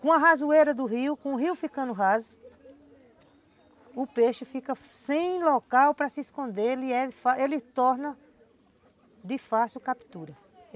Com a rasoeira do rio, com o rio ficando raso, o peixe fica sem local para se esconder, ele torna de fácil captura.